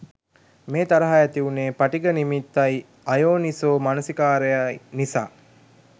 මේ තරහ ඇතිවුණේ පටිඝ නිමිත්තයි අයෝනිසෝ මනසිකාරයයි නිසා